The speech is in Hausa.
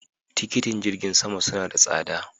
Tikitin jirgin sama suna da tsada.